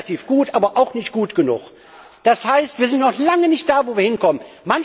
Wir sind relativ gut, aber auch nicht gut genug. Das heißt, wir sind noch lange nicht da, wo wir hinwollen.